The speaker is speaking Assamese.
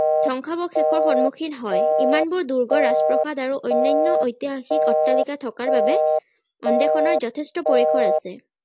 ধ্বংশাৱশেষৰ সন্মুখীন হয় ইমানবোৰ দূৰ্গ ৰাজপ্ৰাসাদ আৰু অন্যান্য ঐতিহাসিক অট্টালিকা থকাৰ বাবে গৱেষণাৰ যথেষ্ট পৰিসৰ আছে